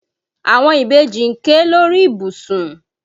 Àwọn ìbejì ń ké lórí ìbùsùn.